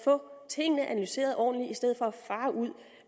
få tingene analyseret ordentligt i stedet for at fare ud